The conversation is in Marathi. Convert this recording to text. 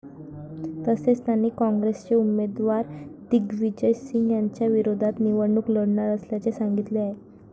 तसेच, त्यांनी काँग्रेसचे उमेदवार दिग्विजय सिंह यांच्याविरोधात निवडणूक लढणार असल्याचे सांगितले आहे.